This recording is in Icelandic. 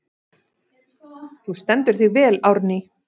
Þú stendur þig vel, Árný!